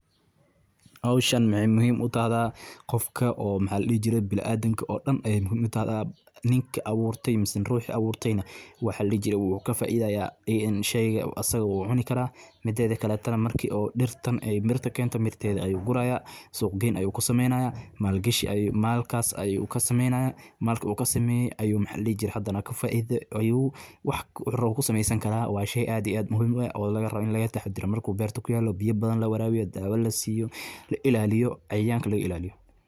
Howshan maxee muhiim u tahdaa qofka bilaadan ka oo ithil ayey dawa utahda ninka aburte mase ruxa aburtey nah wu kafaideya sheyga asaga wu cuni karaa tedha kala tana marku mirta keno ayu guraya suq geen ayu kusameynaya malkas ayu kasameynaya ayu hadana ayu waxu rawa kusamesan karaa in laga taxadaro marki lawarawiyo oo ilaliyo.